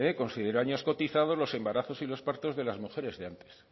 consideró años cotizados los embarazos y los partos de mujeres de antes